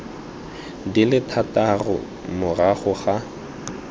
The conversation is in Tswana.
di le thataro morago ga